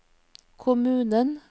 kommunen